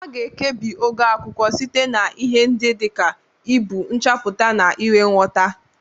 A ga-ekpebi ogo akwụkwọ site na ihe ndị dị ka ibu, nchapụta, na inwe nghota.